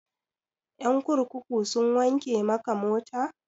Ƴan kurkuku sun wanke maka mota?